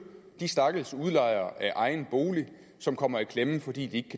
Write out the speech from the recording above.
de stakkels udlejere af egen bolig som kommer i klemme fordi de